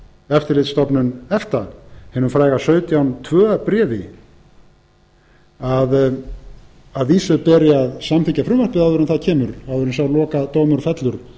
eftirlitsstofnun efta hinu fræga sautján til tveggja bréfi að vísu beri að samþykkja frumvarpið áður en það kemur áður en sá lokadómur fellur